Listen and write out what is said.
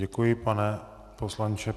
Děkuji, pane poslanče.